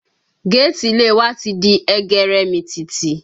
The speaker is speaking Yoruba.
Gétìì ilé wa ti di ẹgẹrẹmìtìtì